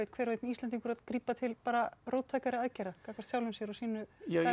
hver og einn Íslendingur að grípa til róttækari aðgerða gagnvart sjálfum sér og sínu